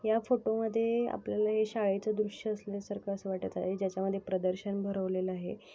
या फोटो मध्ये आपल्याला हे शाळेच दृश्य असण्या सारख अस वाटत आहे ज्याच्या मध्ये प्रदर्शन भरवलेल आहे.